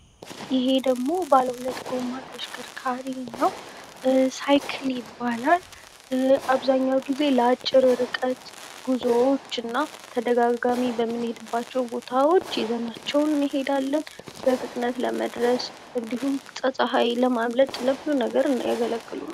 ምስሉ የሚያሳየው ባለሁለት ጎማ ተሽከርካሪ ሲሆን ፤ሳይክል በመባልም ይታወቃል። አብዛኛውን ጊዜ ለአጭር ርቀት እና ብዙ ጊዜ በተደጋጋሚ ለምንሄድባቸው ቦታወች እንጠቀምባቸዋለን።